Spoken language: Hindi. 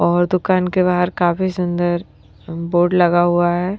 और दुकान के बाहर काफी सुंदर बोर्ड लगा हुआ है।